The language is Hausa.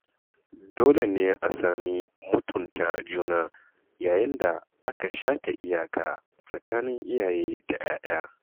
Dole ne a sami mutunta juna yayin da aka shata iyaka tsakanin iyaye da ‘ya‘ya.